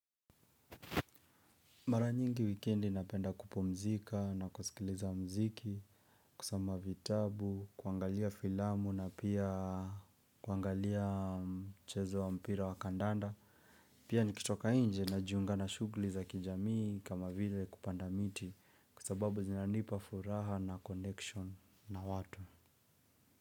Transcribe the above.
Mara nyingi wikendi napenda kupumzika na kusikiliza mziki, kusoma vitabu, kuangalia filamu na pia kuangalia mchezo wa mpira wa kandanda. Pia nikitoka inje na jiunga na shugli za kijamii kama vile kupanda miti kusababu zinanipa furaha na connection na watu.